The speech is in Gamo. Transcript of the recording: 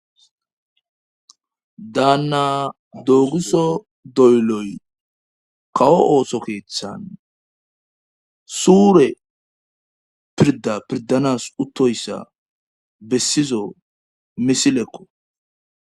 daanna dooguso dolloy kawo ooso keeththan suure pirda pirdanas uttoyssa bessiza misilekko